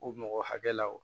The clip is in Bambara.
U mɔgɔ hakɛ la wo